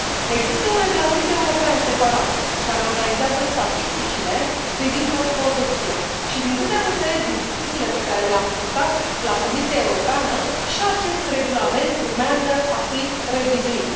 Există un regulament european separat, care organizează statisticile privind producția și, din câte am înțeles din discuțiile pe care le am purtat la Comisia Europeană, și acest regulament urmează a fi revizuit.